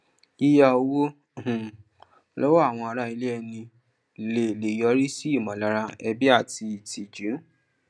yíyà owó um lọwọ àwọn ará ilẹ ẹni lè lè yọrí sí ìmọlára ẹbi àti ìtìjú